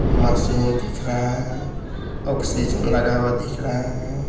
Machine दिख रहा है ऑक्सीजन लगा हुआ दिख रहा है।